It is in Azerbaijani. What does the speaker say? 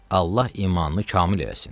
Allah imanını kamil eləsin.